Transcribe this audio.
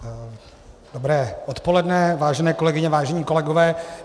Dobré odpoledne, vážené kolegyně, vážení kolegové.